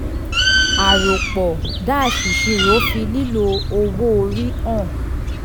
àròpọ̀-ìṣirò fi lílo owó orí hàn.